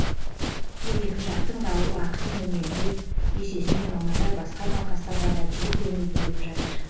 бұл екі жақтың да уақытын үнемдеп есесіне мамандар басқа науқастарға да жиі көңіл бөліп жатыр